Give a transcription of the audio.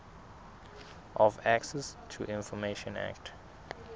of access to information act